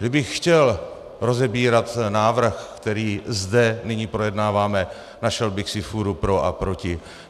Kdybych chtěl rozebírat návrh, který zde nyní projednáváme, našel bych si fůru pro a proti.